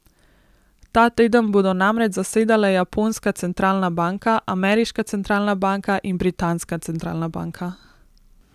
Ta teden bodo namreč zasedale japonska centralna banka, ameriška centralna banka in britanska centralna banka.